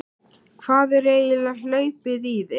Hvað er eiginlega hlaupið í þig?